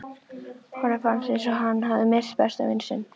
Honum fannst eins og hann hefði misst besta vin sinn.